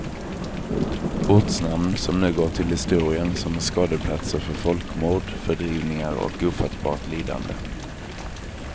Ortsnamn som nu går till historien som skådeplatser för folkmord, fördrivningar och ofattbart lidande.